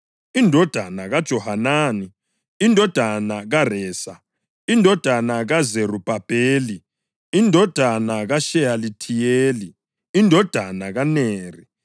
indodana kaJohanani, indodana kaResa, indodana kaZerubhabheli, indodana kaSheyalithiyeli, indodana kaNeri,